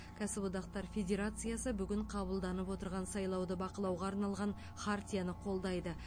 кәсіподақтар федерациясы бүгін қабылданып отырған сайлауды бақылауға арналған хартияны қолдайды